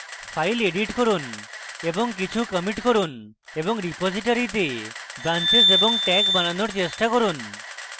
files edit করুন এবং কিছু commits করুন এবং রিপোজিটরীতে branches এবং tags বানানোর চেষ্টা করুন